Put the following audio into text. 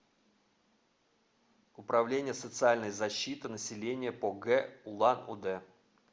управление социальной защиты населения по г улан удэ